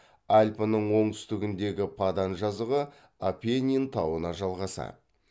альпінің оңтүстігіндегі падан жазығы апеннин тауына жалғасады